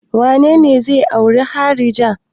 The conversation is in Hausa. Wane ne zai auri harija?